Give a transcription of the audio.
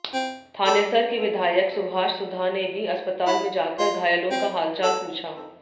थानेसर के विधायक सुभाष सुधा ने भी अस्पताल में जाकर घायलों का हालचाल पूछा